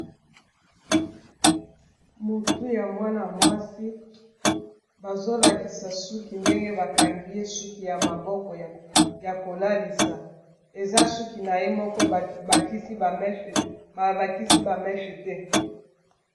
motu ya mwana-mwasi bazolakisa suki ndenge bakangi ye suki ya maboko ya kolalisa eza suki na ye moko babakisi bameshe te